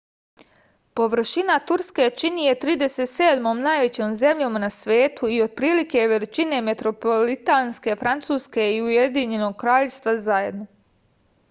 površina turske čini je 37. najvećom zemljom na svetu i otprilike je veličine metropolitanske francuske i ujedinjenog kraljevstva zajedno